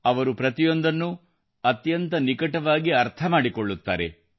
ಅವರು ಪ್ರತಿಯೊಂದನ್ನೂ ಅತ್ಯಂತ ನಿಕಟವಾಗಿ ಅರ್ಥ ಮಾಡಿಕೊಳ್ಳುತ್ತಾರೆ